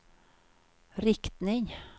riktning